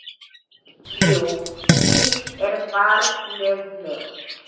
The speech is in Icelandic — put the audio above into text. Jú, víst er barnið mitt.